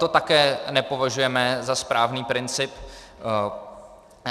To také nepovažujeme za správný princip.